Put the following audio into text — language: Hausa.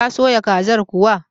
Ta soya kazar kuwa?